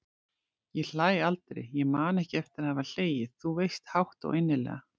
Ég hlæ aldrei, ég man ekki eftir að hafa hlegið- þú veist, hátt og innilega.